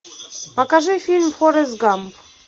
покажи фильм форест гамп